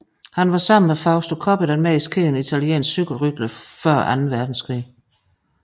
Han var sammen med Fausto Coppi den mest kendte italienske cykelrytter før anden verdenskrig